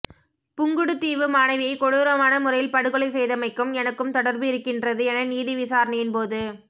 புங்குடுதீவு மாணவியை கொடூரமான முறையில் படுகொலை செய்தமைக்கும் எனக்கும் தொடர்பு இருக்கின்றது என நீதி விசாரணையின் போது